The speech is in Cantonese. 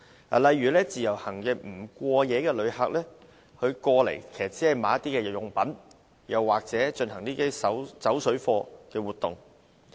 舉例而言，自由行的不過夜旅客來港只是購買日用品，又或進行"走水貨"活動。